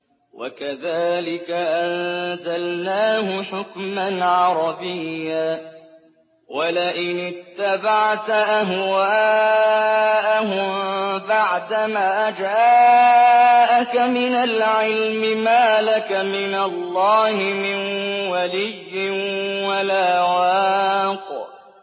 وَكَذَٰلِكَ أَنزَلْنَاهُ حُكْمًا عَرَبِيًّا ۚ وَلَئِنِ اتَّبَعْتَ أَهْوَاءَهُم بَعْدَمَا جَاءَكَ مِنَ الْعِلْمِ مَا لَكَ مِنَ اللَّهِ مِن وَلِيٍّ وَلَا وَاقٍ